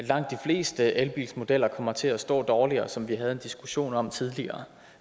langt de fleste elbilsmodeller kommer til at stå dårligere som vi havde en diskussion om tidligere